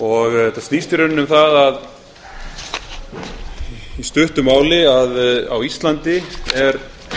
og þetta snýst í rauninni um það í stuttu máli að á íslandi er